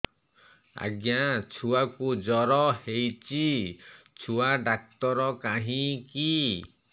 ଆଜ୍ଞା ଛୁଆକୁ ଜର ହେଇଚି ଛୁଆ ଡାକ୍ତର କାହିଁ କି